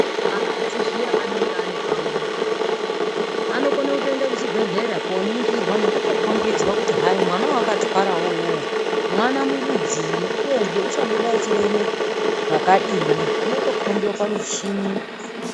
Akadzi zviya anenge ane pamuviri anokone kutoende kuchibhedhleya koningirwa nekutokombidzwa kuti mwana wawakatwarawo uwowo mwana murudzii uyezve uchabuda echireme zvakadii zvinotokombwe pamuchini.